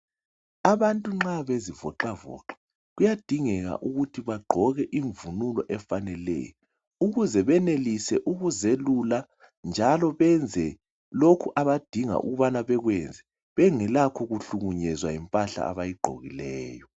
Abantu uma bezivoqavoqa, kuyadingeka ukuthu bagqoke umvunulo efaneleyo, ukuze benelise ukuziyelula, njalo benze lokhu abadinga ukubana bekwenze bengelakho khuhlukunyezwa yimphahla abayigqokileyo.